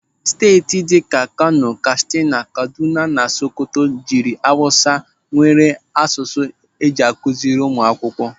Steeti ndị dịka Kano, Katsina, Kaduna na Sokoto jiri awụsa nwere asụsụ eji akụziiri ụmụ akwụkwọ.